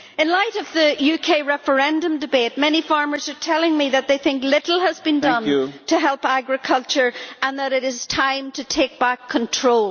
8. In light of the UK referendum debate, many farmers are telling me that they think little has been done to help agriculture and that it is time to take back control.